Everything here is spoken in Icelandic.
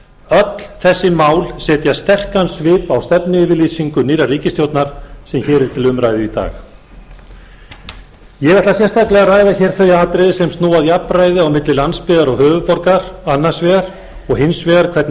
öll þessi mál setja sterkan svip á stefnuyfirlýsingu nýrrar ríkisstjórnar sem hér er til umræðu í dag ég ætla sérstaklega að ræða hér þau atriði sem snúa að jafnræði á milli landsbyggðar og höfuðborgar annars vegar og hins vegar hvernig